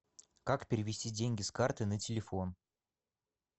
как перевести деньги с карты на телефон